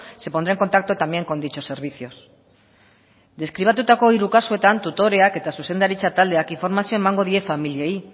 se pondrá en contacto también con dichos servicios deskribatutako hiru kasuetan tutoreak eta zuzendaritza taldeak informazioa emango die familiei